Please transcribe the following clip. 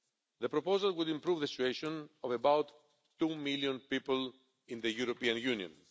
The proposal would improve the situation of about two million people in the European Union.